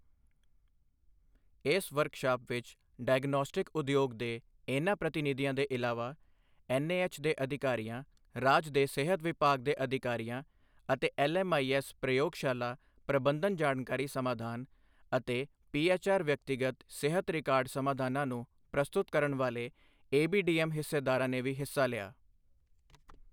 ਇਸ ਵਰਕਸ਼ਾਪ ਵਿੱਚ ਡਾਇਗਨੌਸਟਿਕ ਉਦਯੋਗ ਦੇ ਇਨ੍ਹਾਂ ਪ੍ਰਤੀਨਿਧੀਆਂ ਦੇ ਇਲਾਵਾ ਐੱਨਏਐੱਚ ਦੇ ਅਧਿਕਾਰੀਆਂ, ਰਾਜ ਦੇ ਸਿਹਤ ਵਿਭਾਗ ਦੇ ਅਧਿਕਾਰੀਆਂ ਅਤੇ ਐੱਲਐੱਮਆਈਐੱਸ ਪ੍ਰਯੋਗਸ਼ਾਲਾ ਪ੍ਰਬੰਧਨ ਜਾਣਕਾਰੀ ਸਮਾਧਾਨ ਅਤੇ ਪੀਐੱਚਆਰ ਵਿਅਕਤੀਗਤ ਸਿਹਤ ਰਿਕਾਰਡ ਸਮਾਧਾਨਾਂ ਨੂੰ ਪ੍ਰਸਤੁਤ ਕਰਨ ਵਾਲੇ ਏਬੀਡੀਐੱਮ ਹਿੱਸੇਦਾਰਾਂ ਨੇ ਵੀ ਹਿੱਸਾ ਲਿਆ।